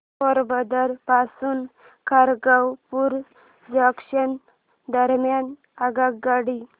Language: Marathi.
पोरबंदर पासून खरगपूर जंक्शन दरम्यान आगगाडी